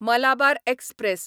Malabar express